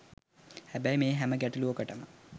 හැබැයි මේ හැම ගැටලුවකටම